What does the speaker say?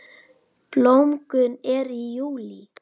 Blómgun er í júlí.